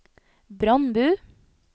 Brandbu